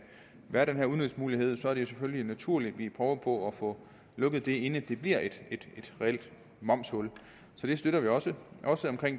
være den her udnyttelsesmulighed er det selvfølgelig naturligt at vi prøver på at få lukket det inden det bliver et reelt momshul så det støtter vi også